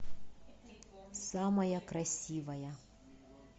самая красивая